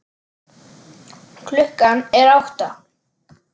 Klukkan er átta.